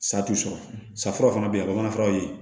Sa t'u sɔrɔ sa fura fana bɛ yen a bɛ bamanan furaw ye